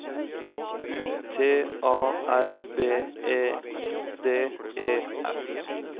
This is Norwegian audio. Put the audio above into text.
U T A R B E I D E S